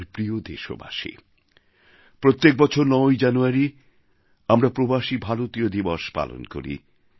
আমার প্রিয় দেশবাসী প্রত্যেক বছর ৯ই জানুয়ারী আমরা প্রবাসী ভারতীয় দিবস পালন করি